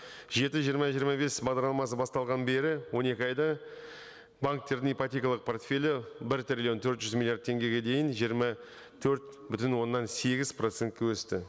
жеті жиырма жиырма бес бағдарламасы басталғаннан бері он екі айда банктердің ипотекалық портфелі бір триллион төрт жүз миллиард теңгеге дейін жиырма төрт бүтін оннан сегіз процентке өсті